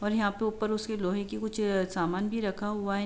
और यहाँ पे उपर उसके लोहे के वो समान भी रखा हुआ है।